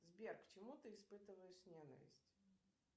сбер к чему ты испытываешь ненависть